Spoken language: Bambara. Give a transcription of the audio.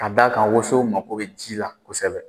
Ka d'a kan woso mago bɛ ji la kosɛbɛ